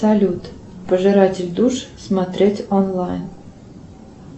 салют пожиратель душ смотреть онлайн